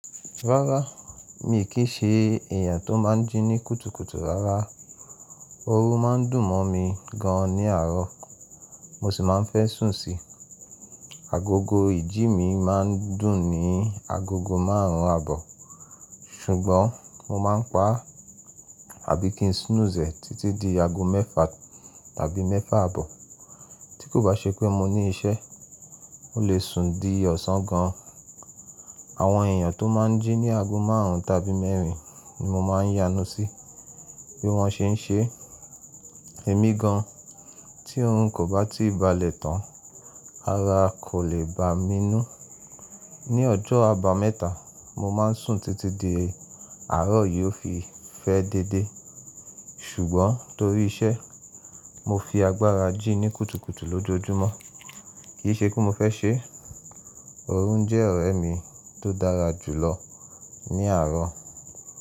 Rárá, mi kì í ṣe èèyàn tó máa ń jí ní kùtùkùtù rárá. Orun máa ń dùn mọ́ mi gan ní àárọ̀, mo sì máa ń fẹ́ sùn síi. Agogo ìjí mi máa ń dùn ní agogo márùn-ún àbọ̀, ṣùgbọ́n mo máa ń paà, àbí kí ń snooze ẹ̀ títí dí ago mẹ́fà tàbí mẹ́fà àbọ̀. Tí kò bá ṣe pé mo ní iṣẹ́, mo lè sùn dí ọ̀sán gan. Àwọn èèyàn tó máa ń jí ní ago márùn-ún tàbí mẹ́rin ni mo máa ń yánú sí bí wọ́n ṣe ń ṣe. Èmi gan, tí òrun kò bá tí ì bálẹ̀ tán, ara kò lè bá mi nú. Ní ọjọ́ Àbámẹ́ta, mo máa ń sùn títí dí àárọ̀ yóò fi fẹ́ dédé. Sùgbọ́n tórí iṣẹ́, mo fi agbára jí ní kùtùkùtù lójoojúmọ́, kì í ṣe pé mo fẹ́ ṣe. Orun jẹ́ ọ̀rẹ́ mi tó dára jùlọ ní àárọ̀.